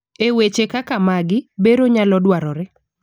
eweche kaka magi, bero nyalo dwarore